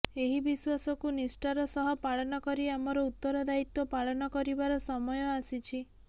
ଏହି ବିଶ୍ୱାସକୁ ନିଷ୍ଠାର ସହ ପାଳନ କରି ଆମର ଉତରଦାୟୀତ୍ୱ ପାଳନ କରିବାର ସମୟ ଆସିଛି